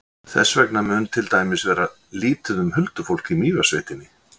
Þess vegna mun til dæmis vera lítið um huldufólk í Mývatnssveitinni.